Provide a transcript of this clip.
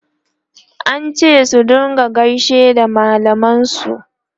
an ce su rinka gaishe da mallaman su